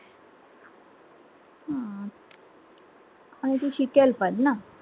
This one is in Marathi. हो, ती शिकेल पण ना